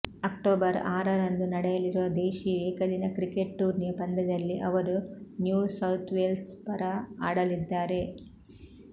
October ಆರರಂದು ನಡೆಯಲಿರುವ ದೇಶಿ ಏಕದಿನ ಕ್ರಿಕೆಟ್ ಟೂರ್ನಿಯ ಪಂದ್ಯದಲ್ಲಿ ಅವರು ನ್ಯೂ ಸೌಥ್ವೇಲ್ಸ್ ಪರ ಆಡಲಿದ್ದಾರೆ